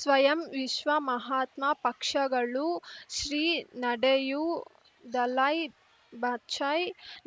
ಸ್ವಯಂ ವಿಶ್ವ ಮಹಾತ್ಮ ಪಕ್ಷಗಳು ಶ್ರೀ ನಡೆಯೂ ದಲೈ ಬಚೈ